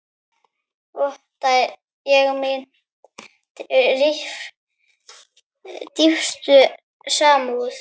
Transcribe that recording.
Votta ég mína dýpstu samúð.